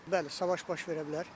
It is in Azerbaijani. Bəli, savaş baş verə bilər.